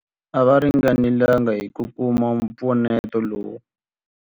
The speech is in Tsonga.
A va ringanelanga hi ku kuma mpfuneto lowu.